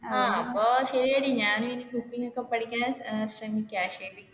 ആഹ് അപ്പൊ ശരി ഞാൻ ഇനി cooking ഒക്കെ പഠിക്കാൻ ശ്രമിക്കാം ശരി.